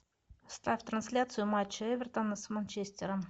ставь трансляцию матча эвертона с манчестером